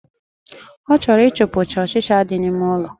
O choro i chupu cha ochicha di na ime ụlọ